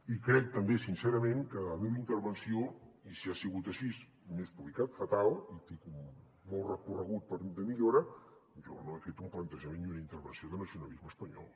i crec també sincerament que en la meva intervenció i si ha sigut així m’he explicat fatal i tinc molt recorregut de millora jo no he fet un plantejament ni una intervenció de nacionalisme espanyol